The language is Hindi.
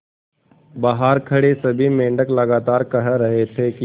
बहार खड़े सभी मेंढक लगातार कह रहे थे कि